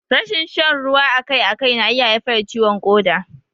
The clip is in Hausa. Rashin shan ruwa akai akai na iya haifar da ciwon ƙoda.